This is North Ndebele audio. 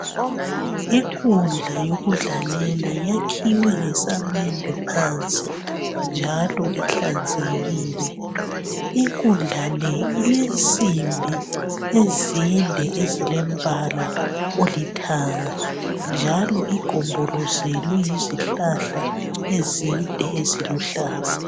Inkundla yokudlalela yakhiwe ngesamende phansi njalo inhlanzekile. Inkundla le ilensimbi ezinde ezilombala olithanga njalo igombolozelwe yizihlahla ezinde eziluhlaza.